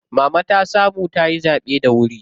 Mama ta samu tayi zaɓe da wuri.